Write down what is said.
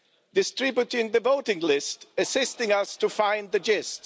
distributing the voting list, assisting us to find the gist